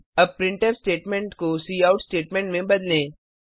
अब printf statement को cout statement में बदलें